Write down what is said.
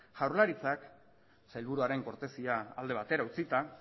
jaurlaritzak sailburuaren kortesia alde batera utzita